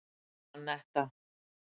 Anetta